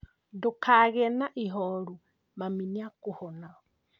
Ndukagie na ihoru mami nĩ akũhona